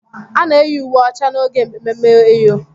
A na-eyi uwe ọcha n'oge ememme eyọ.